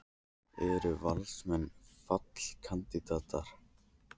Eru Valsmenn fallkandídatar?